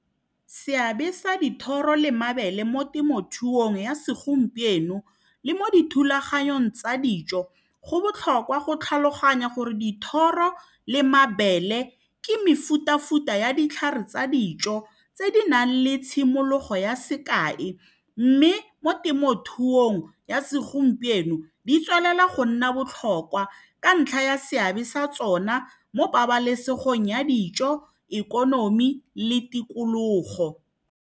Seabe sa dithoro le mabele mo temothuong ya segompieno le mo dithulaganyong tsa dijo go botlhokwa go tlhaloganya gore dithoro le mabele ke mefutafuta ya ditlhare tsa dijo tse di nang le tshimologo ya sekae mme mo temothuong ya segompieno di tswelela go nna botlhokwa ka ntlha ya seabe sa tsona mo pabalesegong ya dijo, ikonomi le tikologo.